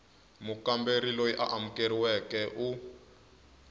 mukamberi loyi a amukeriweke u